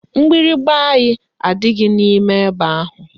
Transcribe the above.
Mgbịrịgba anyị adịghị n'ime ebe ahụ